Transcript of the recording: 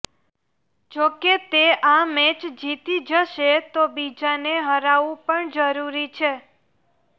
જો તે આ મેચ જીતી જશે તો બીજાને હારવું પણ જરૂરી છે